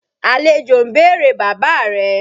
Àlejò ń bèrè bàbá rẹ.